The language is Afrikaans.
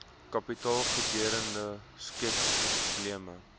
kapitaalgoedere skep probleme